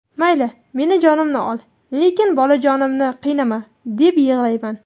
Mayli, meni jonimni ol, lekin bolajonimni qiynama, deb yig‘layman.